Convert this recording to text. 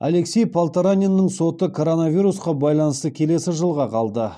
алексей полтораниннің соты коронавирусқа байланысты келесі жылға қалды